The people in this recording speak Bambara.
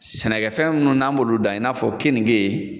Sɛnɛkɛfɛn ninnu n'an bolo dan i n'a fɔ keninge